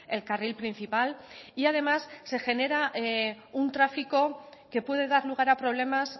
el carril principal y además se genera un tráfico que puede dar lugar a problemas